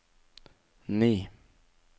ni